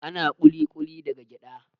Ana ƙuli-ƙuli daga gyaɗa